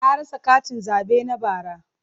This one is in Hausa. Na rasa katin zabe na bara.